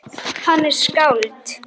Hann er skáld.